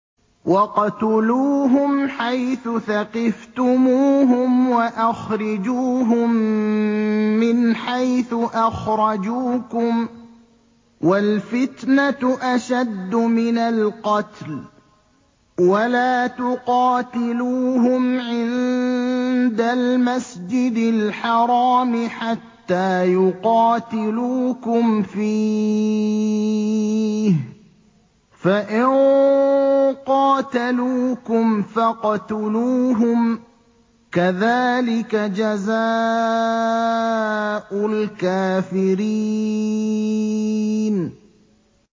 وَاقْتُلُوهُمْ حَيْثُ ثَقِفْتُمُوهُمْ وَأَخْرِجُوهُم مِّنْ حَيْثُ أَخْرَجُوكُمْ ۚ وَالْفِتْنَةُ أَشَدُّ مِنَ الْقَتْلِ ۚ وَلَا تُقَاتِلُوهُمْ عِندَ الْمَسْجِدِ الْحَرَامِ حَتَّىٰ يُقَاتِلُوكُمْ فِيهِ ۖ فَإِن قَاتَلُوكُمْ فَاقْتُلُوهُمْ ۗ كَذَٰلِكَ جَزَاءُ الْكَافِرِينَ